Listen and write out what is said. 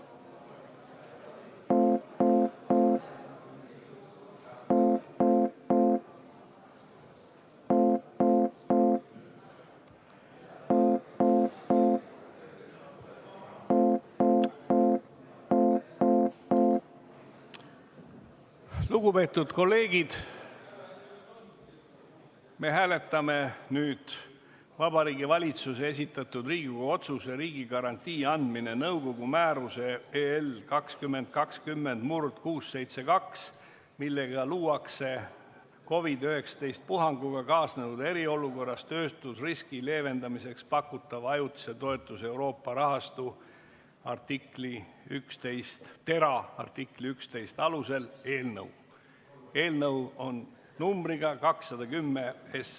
Lugupeetud kolleegid, me hääletame Vabariigi Valitsuse esitatud Riigikogu otsuse "Riigigarantii andmine nõukogu määruse 2020/672, millega luuakse COVID-19 puhanguga kaasnenud eriolukorras töötuseriski leevendamiseks pakutava ajutise toetuse Euroopa rahastu , artikli 11 alusel" eelnõu 210.